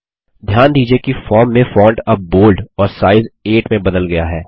ध्यान दीजिये कि फॉर्म में फ़ॉन्ट अब बोल्ड और साइज़ 8 में बदल गया है